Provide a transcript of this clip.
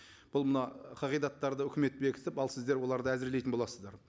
бұл мына қағидаттарды өкімет бекітіп ал сіздер оларды әзірлейтін боласыздар